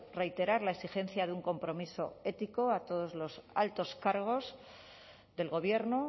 reiterar la exigencia de un compromiso ético a todos los altos cargos del gobierno